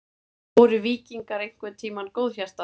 Voru víkingar einhvern tímann góðhjartaðir?